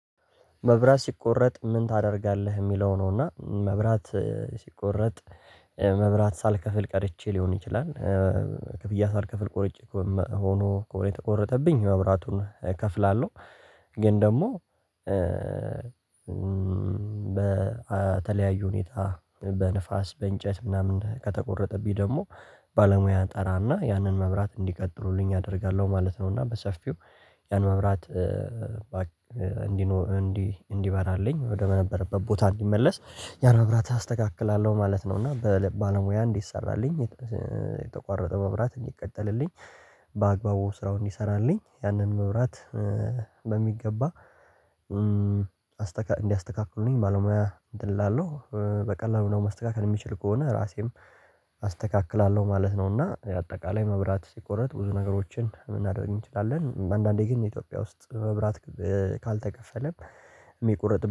መብራት ሲቆረጥ ምን ታደርጋለህ? የሚለው ነውና መብራት ሲቆረጥ መብራት ሳልከፍል ቀርቼ ሊሆን ይችላል። ክፍያ ሳልከፍል ቆርጬ ሆኖ ከሆነ የተቆረጠብኝ መብራቱን እከፍላለሁ። ግን ደግሞ በተለያዩ ሁኔታ በንፋስ በእንጨት ምናምን ከተቆረጠብኝ ደግሞ ባለሙያ ጠራና ያንን መብራት እንዲቀጥሉልኝ አደርጋለሁ ማለት ነው። እና በሰፊው ያን መብራት እንዲኖር እንዲበራልኝ ወደበነበረበት ቦታ እንዲመለስ ያን ነገር አስተካክላለሁ ማለት ነው። እና በባለሙያ እንዴት ሰራልኝ። የተቋረጠ መብራት እንዲቀጠልልኝ በአግባቡ ስራው እንዲሰራልኝ ያንን መብራት በሚገባ እንዲያስተካክሉኝ ባለሙያ ድል አለው። በቀላሉ ነው ማስተካከል የሚችል ከሆነ ራሴም አስተካክላለሁ ማለት ነው። እና የአጠቃላይ መብራት ሲቆረጥ ብዙ ነገሮችን የምናደርግ እንችላለን። አንዳንዴ ግን የኢትዮጵያ ውስጥ በብራት ካልተከፈለም የሚቆርጥ